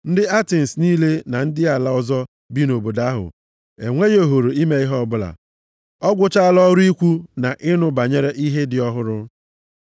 (Ndị Atens niile na ndị ala ọzọ bi nʼobodo ahụ, enweghị ohere ime ihe ọbụla, ọ gwụchaala ọrụ ikwu na ịnụ banyere ihe dị ọhụrụ.)